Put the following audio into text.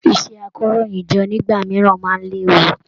Iṣẹ àkòróyinjọ́ nígbà mìíràn máa n léwu